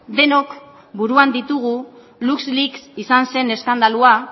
denok buruan ditugu luxleaks izan zen eskandalua